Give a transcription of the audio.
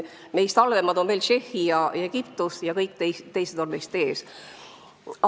Meist halvemad on Tšehhi ja Egiptus, kõik teised on meist ees.